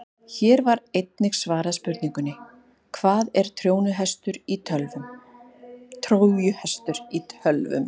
Hér var einnig svarað spurningunni: Hvað er trójuhestur í tölvum?